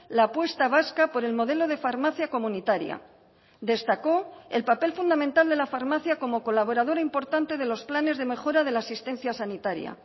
la apuesta vasca por el modelo de farmacia comunitaria destacó el papel fundamental de la farmacia como colaborador importante de los planes de mejora de la asistencia sanitaria